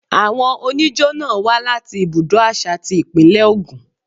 Àwọn oníjó náà wá láti ibùdó àṣà ti Ìpínlẹ̀ Ògùn.